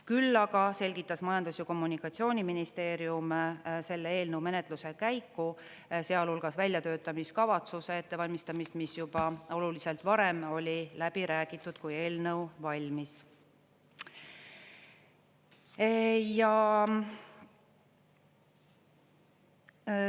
Küll aga selgitas Majandus- ja Kommunikatsiooniministeerium selle eelnõu menetluse käiku, sealhulgas väljatöötamiskavatsuse ettevalmistamist, mis juba oluliselt varem oli läbi räägitud, kui eelnõu valmis.